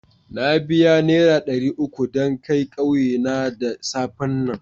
Na biya nera dari uku dan kai ƙauye na da safen nan.